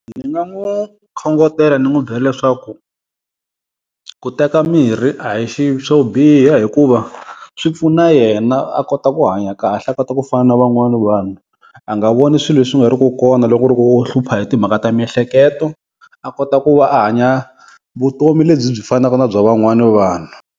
Ndzi nga n'wi khongotela ndzi n'wi byela leswaku, ku teka mirhi a hi xi swo biha hikuva swi pfuna yena a kota ku hanya kahle a kota ku fana na van'wana vanhu. A nga voni swilo leswi nga riku kona loko ku ri ku u hlupha hi timhaka ta miehleketo a kota ku va a hanya vutomi lebyi byi fanaka na bya van'wani vanhu.